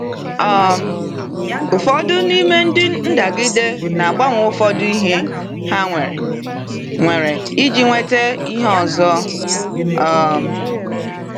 um Ụfọdụ n’ime ndị ndagide na-agbanwe ụfọdụ ihe ha nwere nwere iji nweta ihe ọzọ. um